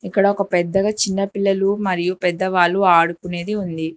ఇక్కడ ఒక పెద్దగా చిన్న పిల్లలు మరియు పెద్దవాళ్ళు ఆడుకునేది ఉంది.